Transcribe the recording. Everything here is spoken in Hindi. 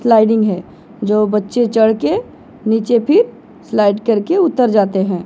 स्लाइडिंग है जो बच्चे चढ़ के नीचे फिर स्लाइड करके उतर जाते हैं।